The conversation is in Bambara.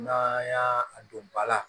N'an y'a don ba la